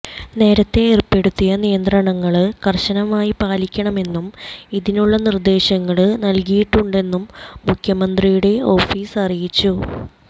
നേരത്തെ ഏര്പ്പെടുത്തിയ നിയന്ത്രണങ്ങള് കര്ശനമായി പാലിക്കണമെന്നും ഇതിനുള്ള നിര്ദ്ദേശങ്ങള് നല്കിയിട്ടുണ്ടെന്നും മുഖ്യമന്ത്രിയുടെ ഓഫീസ് അറിയിച്ചു